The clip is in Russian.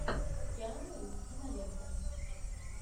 киану ривз кинолента